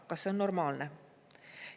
Kas see on normaalne?